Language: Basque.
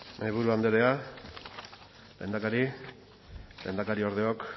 mahaiburu andrea lehendakari lehendakariordeok